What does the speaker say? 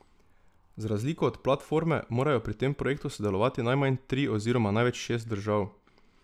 Z razliko od Platforme morajo pri tem projektu sodelovati najmanj tri oziroma največ šest držav.